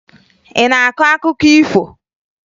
Ị na-akọ akụkọ ifo?